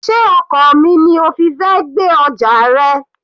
Sé ọkọ̀ omi ni o fi fẹ́ gbé ọjà rẹ?